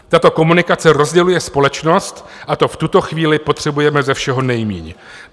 Tato komunikace rozděluje společnost a to v tuto chvíli potřebujeme ze všeho nejméně.